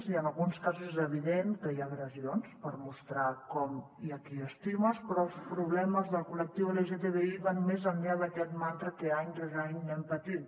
i en alguns casos és evident que hi ha agressions per mostrar com i qui estimes però els problemes del col·lectiu lgtbi van més enllà d’aquest mantra que any rere any anem patint